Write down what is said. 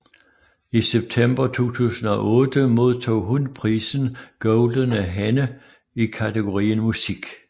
I september 2008 modtog hun prisen Goldene Henne i kategorien Musik